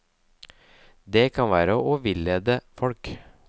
Det kan være å villede folk.